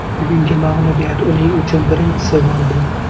Bugungi mag‘lubiyat uning uchun birinchisi bo‘ldi.